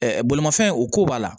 bolimafɛn o ko b'a la